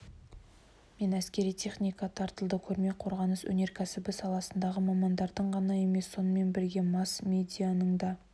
мен әскери техника тартылды көрме қорғаныс өнеркәсібі саласындағы мамандардың ғана емес сонымен бірге масс-медианың да